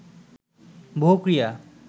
বহু ক্রিয়া